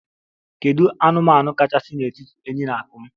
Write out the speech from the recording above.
Kedu anụmanụ kachasị n'etiti enyí na akum?